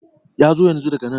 yazo yanzu daga nan